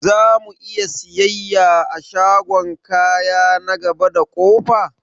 Zamu'iya siyayya a shagon kaya na gaba da ƙofa?